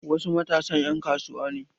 Wasu matasan 'yan kasuwa ne.